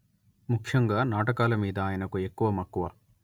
ముఖ్యంగా నాటకాలమీద ఆయనకు ఎక్కువ మక్కువ